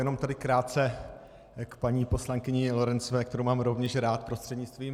Jenom tady krátce k paní poslankyni Lorencové, kterou mám rovněž rád, prostřednictvím...